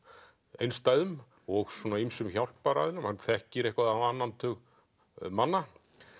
einstæðum og svona ýmsum hann þekkir eitthvað á annan tug manna